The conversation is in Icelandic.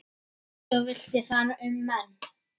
Eins villti þar um menn.